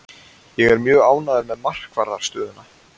Ég er mjög ánægður með markvarðarstöðuna.